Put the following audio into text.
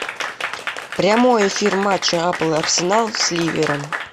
прямой эфир матча апл арсенал с ливером